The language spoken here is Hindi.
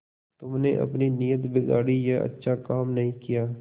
तुमने अपनी नीयत बिगाड़ी यह अच्छा काम नहीं किया